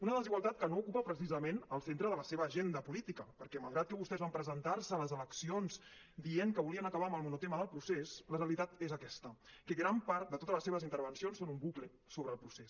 una desigualtat que no ocupa precisament el centre de la seva agenda política perquè malgrat que vostès van presentar·se a les eleccions dient que volien acabar amb el monotema del procés la realitat és aquesta que gran part de totes les seves intervencions són un bucle sobre el procés